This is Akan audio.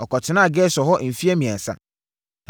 Ɔkɔtenaa Gesur hɔ mfeɛ mmiɛnsa.